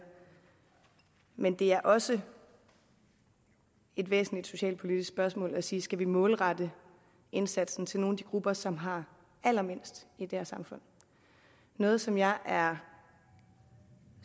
men det er også et væsentligt socialpolitisk spørgsmål at sige skal vi målrette indsatsen til nogle af de grupper som har allermindst i det her samfund noget som jeg er